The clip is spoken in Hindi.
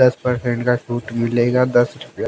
दस परसेंट का छूट मिलेगा दस रुपया--